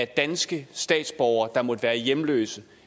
danske statsborgere der måtte være hjemløse